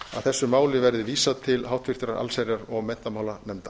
þessu máli verði vísað til háttvirtrar allsherjar og menntamálanefndar